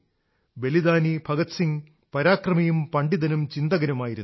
ബലിദാനി ഭഗത് സിംഗ് പരാക്രമിയും പണ്ഡിതനും ചിന്തകനുമായിരുന്നു